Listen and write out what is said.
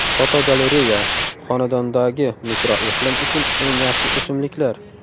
Fotogalereya: Xonadondagi mikroiqlim uchun eng yaxshi o‘simliklar.